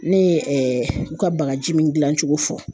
Ne ye u ka bagaji min gilan cogo fɔ